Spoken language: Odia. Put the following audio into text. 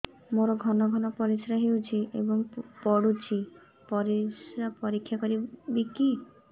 ମୋର ଘନ ଘନ ପରିସ୍ରା ହେଉଛି ଏବଂ ପଡ଼ୁଛି ପରିସ୍ରା ପରୀକ୍ଷା କରିବିକି